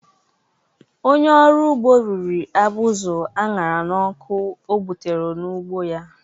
Onye ọrụ ugbo riri abụzụ a ṅara n’ọkụ ọ gbutere n’ugbo ya